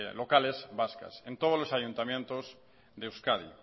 locales vascas en todos los ayuntamientos de euskadi